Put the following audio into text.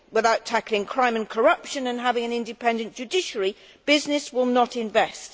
Without tackling crime and corruption and having an independent judiciary, business will not invest.